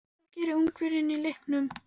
Hvað gerir Ungverjinn í leiknum?